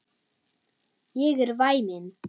Ég er væmin.